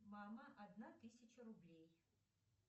мама одна тысяча рублей